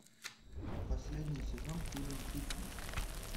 последний сезон фильм фитнес